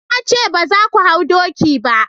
na ce ba za ku hau doki ba!